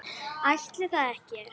Ætli það ekki?